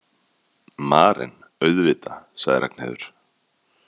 Maren auðvitað, sagði Ragnheiður.